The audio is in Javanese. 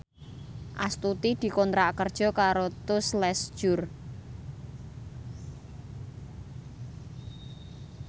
Astuti dikontrak kerja karo Tous Les Jour